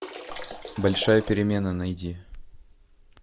большая перемена найди